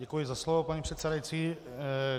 Děkuji za slovo, paní předsedající.